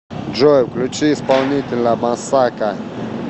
джой включи исполнителя массака